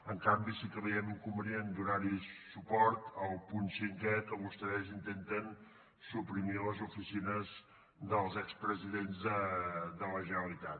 en canvi sí que veiem inconvenient donar suport al punt cinquè amb què vostès intenten suprimir les oficines dels expresidents de la generalitat